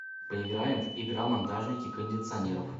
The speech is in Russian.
поиграем в игра монтажники кондиционеров